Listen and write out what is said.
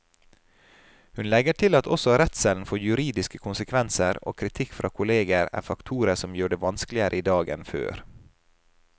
Hun legger til at også redselen for juridiske konsekvenser og kritikk fra kolleger er faktorer som gjør det vanskeligere i dag enn før.